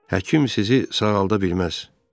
Həkim sizi sağalda bilməz.